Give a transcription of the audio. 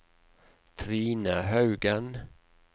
Trine Haugen